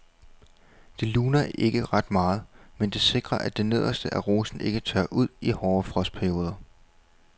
Det luner ikke ret meget, men det sikrer at det nederste af rosen ikke tørrer ud i hårde frostperioder.